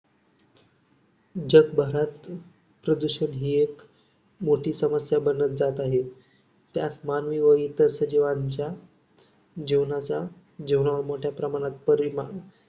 जगभारत प्रदूषण ही एक मोठी समस्या बनत जात आहे. त्यात मानवी आणि इतर सजीवांच्या जीवनाचा जीवनावर मोठ्या प्रमाणावर परिणाम